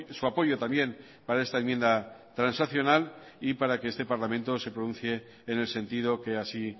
su apoyo también para esta enmienda transaccional y para que este parlamento se pronuncie en el sentido que así